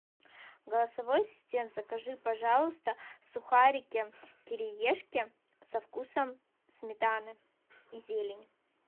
голосовой ассистент закажи пожалуйста сухарики кириешки со вкусом сметаны и зелени